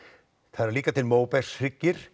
það eru líka til